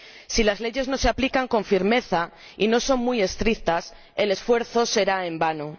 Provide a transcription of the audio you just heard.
Si las leyes no se aplican con firmeza y no son muy estrictas, el esfuerzo será en vano.